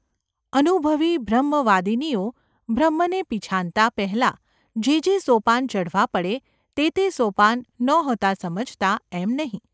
અનુભવી બ્રહ્મવાદિનીઓ બ્રહ્મને પિછાનતા પહેલાં જે જે સોપાન ચઢવા પડે તે તે સોપાન નહોતાં સમજતાં એમ નહિ.